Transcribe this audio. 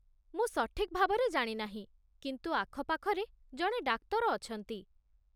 ମୁଁ ସଠିକ୍ ଭାବରେ ଜାଣି ନାହିଁ, କିନ୍ତୁ ଆଖପାଖରେ ଜଣେ ଡାକ୍ତର ଅଛନ୍ତି।